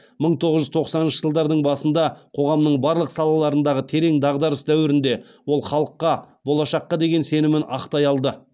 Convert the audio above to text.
мың тоғыз жүз тоқсаныншы жылдардың басында қоғамның барлық салаларындағы терең дағдарыс дәуірінде ол халыққа болашаққа деген сенімін ақтай алды